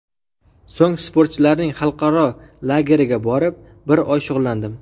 So‘ng sportchilarning xalqaro lageriga borib, bir oy shug‘ullandim.